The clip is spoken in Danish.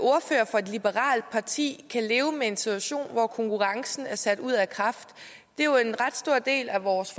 for et liberalt parti kan leve med en situation hvor konkurrencen er sat ud af kraft en ret stor del af vores